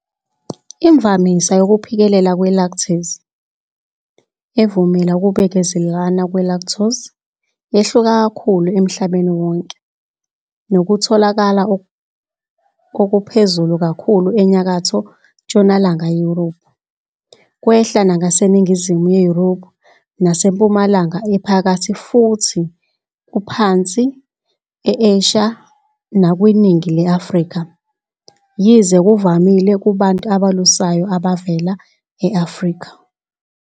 Imvamisa yokuphikelela kwe-lactase, evumela ukubekezelelana kwe-lactose, yehluka kakhulu emhlabeni wonke, nokutholakala okuphezulu kakhulu eNyakatho-ntshonalanga Yurophu, kwehla ngaseningizimu yeYurophu naseMpumalanga Ephakathi futhi kuphansi e-Asia nakwiningi le-Afrika, yize kuvamile kubantu abelusayo abavela e-Afrika.